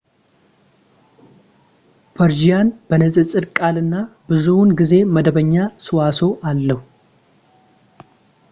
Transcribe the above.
ፐርዢያን በንፅፅር ቀላል እና ብዙውን ጊዜ መደበኛ ሰዋስው አለው